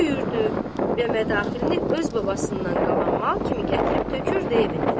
Döyürdü və mədaxilini öz babasından qalan mal kimi gətirib tökürdü evinə.